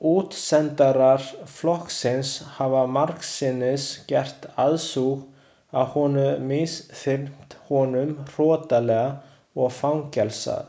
Útsendarar flokksins hafa margsinnis gert aðsúg að honum misþyrmt honum hrottalega og fangelsað.